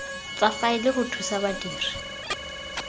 tsa faele go thusa badiri